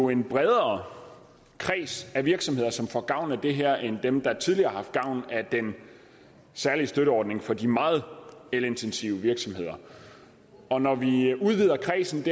en bredere kreds af virksomheder som får gavn af det her end dem der tidligere har haft gavn af den særlige støtteordning for de meget elintensive virksomheder og når vi udvider kredsen